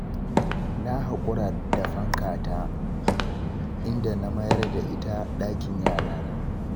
Na haƙura da fankata, inda na mayar da ita ɗakin yarana.